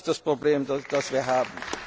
steigern. Das ist das Problem,